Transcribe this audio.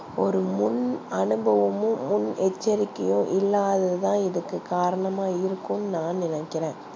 ஒரு முன் அனுபவமும் முன் எச்சரிகையும் இல்லாதது தா இதுக்கு காரணமா இருக்கும் னு நா நினைக்கிறன்